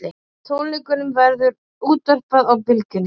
Tónleikunum verður útvarpað á Bylgjunni